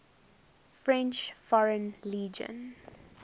french foreign legion